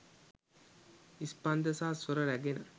ස්පන්ද සහ ස්වර රැගෙන